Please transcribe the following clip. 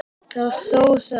Þó það.